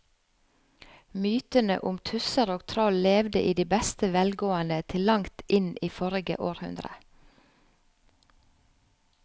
Mytene om tusser og troll levde i beste velgående til langt inn i forrige århundre.